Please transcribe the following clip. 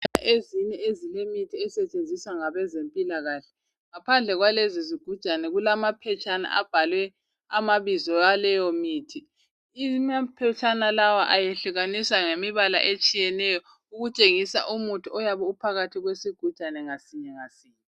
Ezinye ezilemithi asetshenziswa ngabezempilakahle ngapande kwalezo zigujane kulamaphetshana etshengisela ibizo laleyomithi, amapetshana laya ahlukaniswa ngombala ohlukeneyo ukutshengisa umuthi oyabe ukhona sigujana sinye ngasinye.